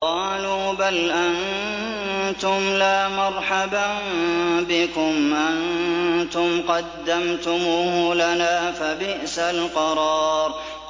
قَالُوا بَلْ أَنتُمْ لَا مَرْحَبًا بِكُمْ ۖ أَنتُمْ قَدَّمْتُمُوهُ لَنَا ۖ فَبِئْسَ الْقَرَارُ